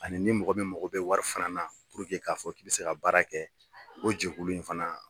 Ani ni mɔgɔ min mago bɛ wari fana na puruke k'a fɔ k'i bɛ se ka baara kɛ o jɛkulu in fana